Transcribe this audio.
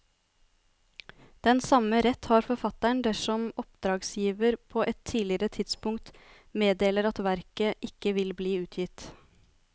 Den samme rett har forfatteren dersom oppdragsgiver på et tidligere tidspunkt meddeler at verket ikke vil bli utgitt.